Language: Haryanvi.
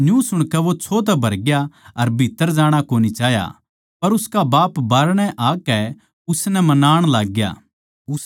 न्यू सुणकै वो छो तै भरग्या अर भीत्त्तर जाणा कोनी चाह्या पर उसका बाप बाहरणै आकै उसनै मनाण लाग्या